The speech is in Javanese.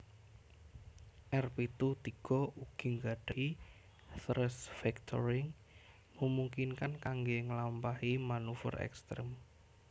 R pitu tiga ugi nggadahi thrust vectoring memungkinkan kangge ngelampahi maneuver ekstrem